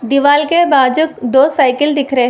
दीवाल के बाजू दो साइकिल दिख रहे हैं।